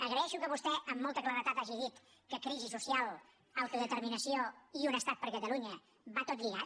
agraeixo que vostè amb molta claredat hagi dit que crisi social autodeterminació i un estat per a catalunya va tot lligat